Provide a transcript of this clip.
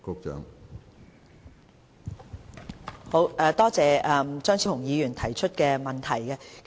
多謝張超雄議員提出的補充質詢。